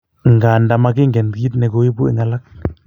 Nganda magingen kit ne koibu en alak